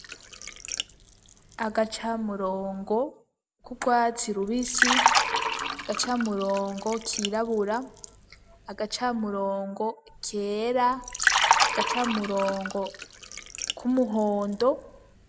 Agacamurongo k'urwatsi rubisi, gacamurongo kirabura, agacamurongo kera, gacamurongo k'umuhondo.